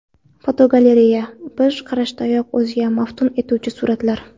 Fotogalereya: Bir qarashdayoq o‘ziga maftun etuvchi suratlar.